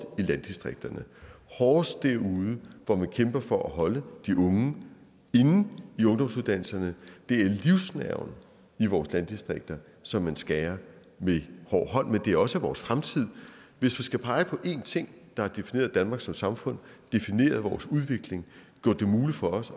hårdest derude hvor man kæmper for at holde de unge inde i ungdomsuddannelserne det er livsnerven i vores landdistrikter som man skærer med hård hånd men det er også vores fremtid hvis jeg skal pege på en ting der har defineret danmark som samfund defineret vores udvikling gjort det muligt for os